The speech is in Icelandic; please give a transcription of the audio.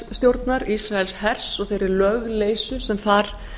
ísraelsstjórnar ísraelshers og þeirri lögleysu sem þar